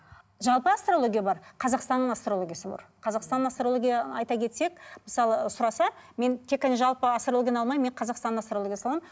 жалпы астрология бар қазақстанның астрологиясы бар қазақстанның астрология айта кетсек мысалы сұраса мен тек қана жалпы астрологияны алмайын мен қазақстанның астрологиясын аламын